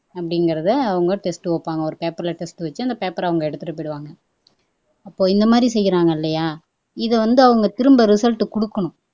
அப்படிங்கிறதை அவங்க டெஸ்ட் வைப்பாங்க ஒரு பேப்பர்ல டெஸ்ட் வச்சு அந்த பேப்பரை அவங்க எடுத்துட்டு போயிருவாங்க அப்போ இந்த மாதிரி செய்யிறாங்க இல்லையா இதை வந்து அவங்க திரும்ப ரிசல்ட் குடுக்கணும்